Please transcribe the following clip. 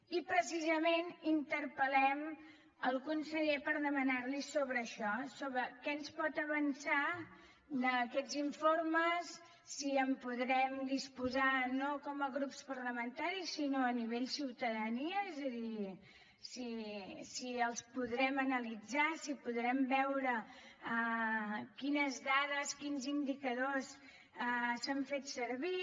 i precisament interpel·lem el conseller per demanar li sobre això sobre què ens pot avançar d’aquests informes si en podrem disposar no com a grups parlamentaris sinó a nivell ciutadania és a dir si els podrem analitzar si podrem veure quines dades quins indicadors s’han fet servir